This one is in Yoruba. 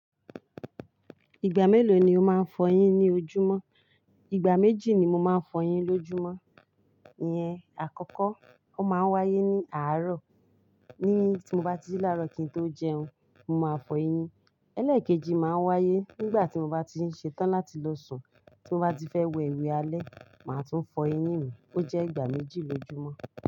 Ìgbà mélòó ni o máa ń fọ eyín ní ojúmọ́? Ìgbà méjì ni mo máa ń fọ eyín lójúmọ́ yẹn. Àkọ́kọ́, ó máa ń wáyé ní àárọ̀. Ní tí mo bá ti jí láàárọ̀ kí n tó jẹun, mo máa fọ eyín. Ẹlẹ́ẹ̀kejì máa ń wáyé nígbà tí mo bá ti ń ṣe tán láti lo sùn. Tí mo bá ti fẹ́ wẹ ewé alẹ́, màá tún fọ eyín mi. Ó jẹ́ ìgbà méjì lójúmọ́.